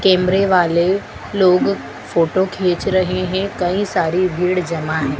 कैमरे वाले लोग फोटो खींच रहे हैं कई सारी भीड़ जमा हैं।